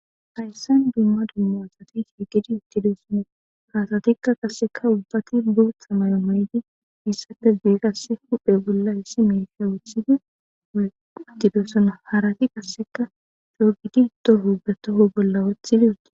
Hayssan dumma dumma asati hiigidi ittidoosono kaasatikka qasseka ubbati boothamayo mayydi issapes biigasse huphe bolla hissi meefiya wuthidi uttidoosono harati qasseka drogigi doh o ubatoho bolla wothidi uti.